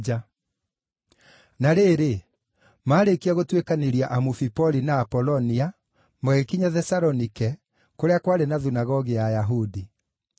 Na rĩrĩ, maarĩkia gũtuĩkanĩria Amufipoli na Apolonia, magĩkinya Thesalonike, kũrĩa kwarĩ na thunagogi ya Ayahudi.